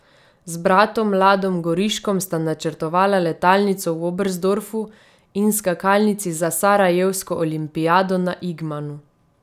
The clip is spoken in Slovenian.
Z bratom Ladom Goriškom sta načrtovala letalnico v Oberstdorfu in skakalnici za sarajevsko olimpijado na Igmanu.